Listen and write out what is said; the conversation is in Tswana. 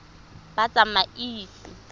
batsamaisi